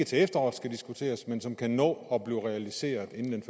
til efteråret men som kan nå at blive realiseret inden den